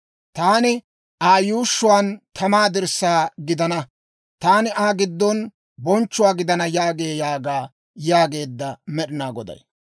Taani Aa yuushshuwaan tamaa dirssaa gidana; taani Aa giddon bonchchuwaa gidana yaagee› yaaga» yaageedda med'inaa Goday.